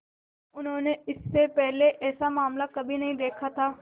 उन्होंने इससे पहले ऐसा मामला कभी नहीं देखा था